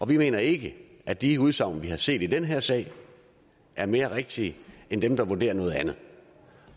vi mener ikke at de udsagn vi har set i den her sag er mere rigtige end dem der vurderer noget andet